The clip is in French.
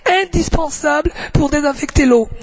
indispensable pour désinfecter l'eau